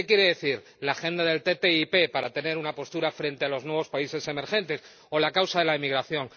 ¿Qué quiere decir, la agenda de la ATCI para tener una postura frente a los nuevos países emergentes o la causa de la emigración?